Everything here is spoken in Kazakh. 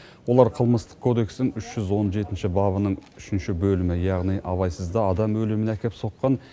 олар қылмыстық кодекстің үш жүз он жетінші бабының үшінші бөлімі яғни абайсызда адам өліміне әкеп соққан